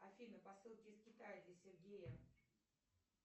афина посылки из китая для сергея